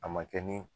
A ma kɛ ni